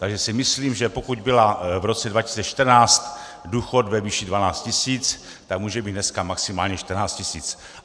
Takže si myslím, že pokud byl v roce 2014 důchod ve výši 12 tisíc, tak může být dneska maximálně 14 tisíc.